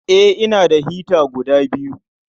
Eh, ina da hita guda biyu.